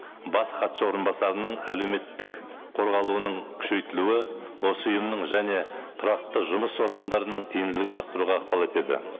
бас хатшы орынбасарының әлеуметтік қорғалуының күшейтілуі осы ұйымның және тұрақты жұмыс органдарының тиімділігін арттыруға ықпал етеді